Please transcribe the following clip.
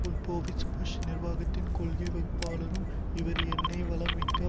Wolfowitz Bush நிர்வாகத்தின் கொள்கை வகுப்பாளரும் இவர் எண்ணெய் வளம் மிக்க